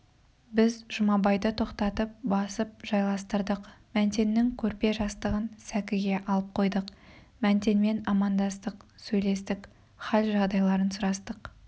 біз жұмабайды тоқтатып басып жайластырдық мәнтеннің көрпе-жастығын сәкіге алып қойдық мәнтенмен амандастық сөйлестік хал-жайларын сұрастық